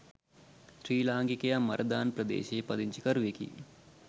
ශ්‍රී ලාංකිකයා මරදාන ප්‍රදේශයේ පදිංචිකරුවෙකි